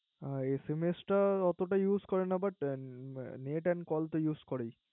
এ SMS টা ওতটা Use করে না Net and call তো Use করেই